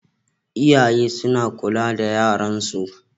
Iyaye suna kula da yaran su